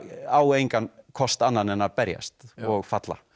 á engan kost annan en að berjast og falla